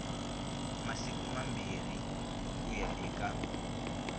masiku mambirhi ku ya eka